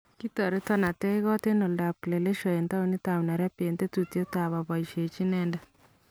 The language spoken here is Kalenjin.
Kitoretan ateechkoot en oldo ab kieleshwa en towunitab Nairobi en tetutyetab abaisyeji inendet